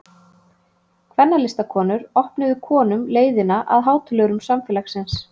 Kvennalistakonur opnuðu konum leiðina að hátölurum samfélagsins.